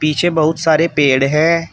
पीछे बहुत सारे पेड़ हैं।